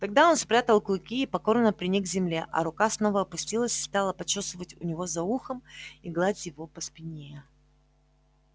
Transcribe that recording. тогда он спрятал клыки и покорно приник к земле а рука снова опустилась и стала почёсывать у него за ухом и гладить его по спине